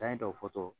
Dan ye dɔ fɔ